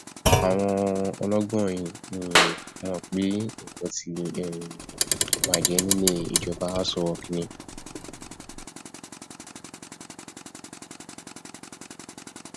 àwọn ọlọgbọn yìí um mọ pé nǹkan ti um bàjẹ nílé ìjọba aṣọ rock ni